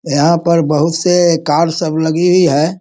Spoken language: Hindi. यहाँ पर बहुत से कार सब लगी हुई है।